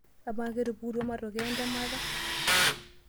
Amaa, ketupukutuo matokeo entemata?